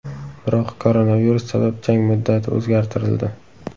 Biroq koronavirus sabab jang muddati o‘zgartirildi.